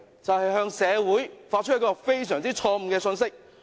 就是向社會發出一個非常錯誤的信息。